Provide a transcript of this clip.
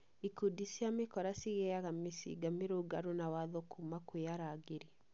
Ikundi cia mĩkora cigĩaga mĩcinga mũgarũ na watho kuma kwĩ arangĩri